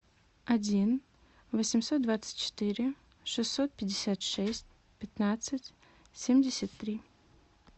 один восемьсот двадцать четыре шестьсот пятьдесят шесть пятнадцать семьдесят три